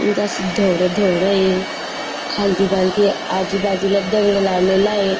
इथ अस धोड धोड ये खालती खालती आजूबाजूला दगड लावलेलाय.